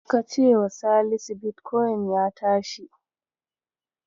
Ka cewa Salisu bitkoyin ya tashi.